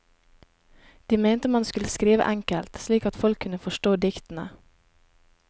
De mente man skulle skrive enkelt, slik at folk kunne forstå diktene.